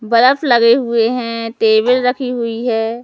बरफ लगे हुए हैं टेबल रखी हुई है।